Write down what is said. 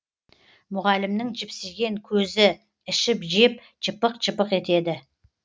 мұғалімнің жіпсиген көзі ішіп жеп жыпық жыпық етеді